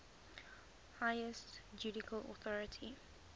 highest judicial authority